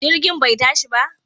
Jirgin bai tashi ba?